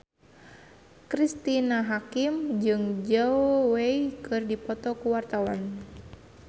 Cristine Hakim jeung Zhao Wei keur dipoto ku wartawan